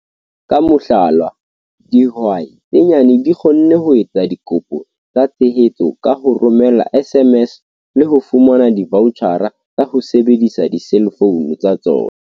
Ka mohlala, dihwai tse nyane di kgonne ho etsa dikopo tsa tshehetso ka ho romela SMS le ho fumana divaotjhara tsa ho sebedisa diselfounu tsa tsona.